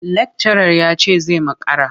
Lakcarar ya ce zai makara.